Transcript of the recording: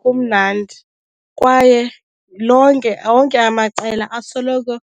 kumnandi kwaye lonke onke amaqela asoloko